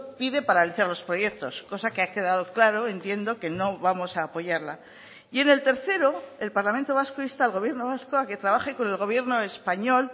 pide paralizar los proyectos cosa que ha quedado claro entiendo que no vamos a apoyarla y en el tercero el parlamento vasco insta al gobierno vasco a que trabaje con el gobierno español